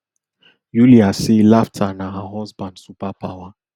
yulia say laughter na her husband superpower